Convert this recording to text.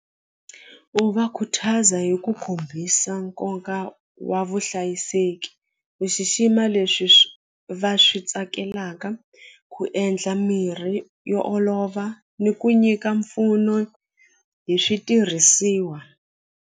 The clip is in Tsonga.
U va khuthaza hi ku kombisa nkoka wa vuhlayiseki ku xixima leswi swi va swi tsakelaka ku endla mirhi yo olova ni ku nyika mpfuno hi switirhisiwa.